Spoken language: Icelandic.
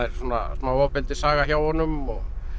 smá hjá honum og